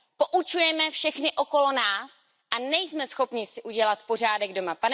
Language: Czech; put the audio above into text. Poučujeme všechny okolo nás a nejsme schopni si udělat pořádek doma.